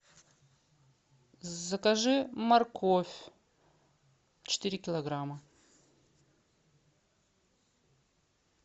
закажи морковь четыре килограмма